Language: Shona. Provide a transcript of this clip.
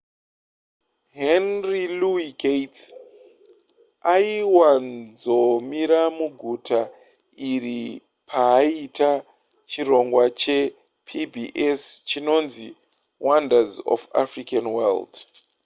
henry louis gates' aiwanzomira muguta iri paaita chirongwa chepbs chinonzi wonders of the african world